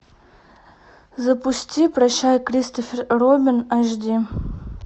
запусти прощай кристофер робин аш ди